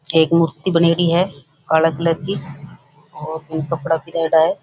एक मूर्ति बनेड़ी है काला कलर की और कपडा पहिनाइडा है।